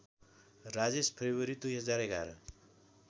Rajesh February २०११